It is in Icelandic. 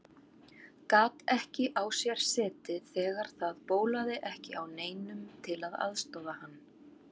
Gat ekki á sér setið þegar það bólaði ekki á neinum til að aðstoða hann.